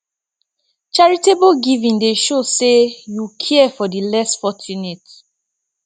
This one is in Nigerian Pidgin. charitable giving dey show say yu care for di less fortunate